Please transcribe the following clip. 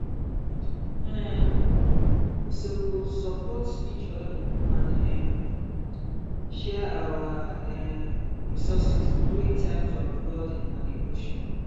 um we suppose support each other and um share our um resources during times of flooding and erosion